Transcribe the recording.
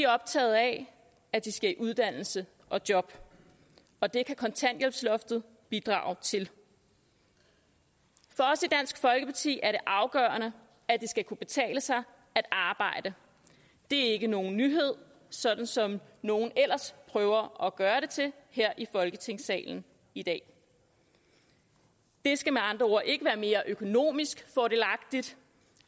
optagede af at de skal i uddannelse og job og det kan kontanthjælpsloftet bidrage til for os i dansk folkeparti er det afgørende at det skal kunne betale sig at arbejde det er ikke nogen nyhed sådan som nogle ellers prøver at gøre det til her i folketingssalen i dag det skal med andre ord ikke være mere økonomisk fordelagtigt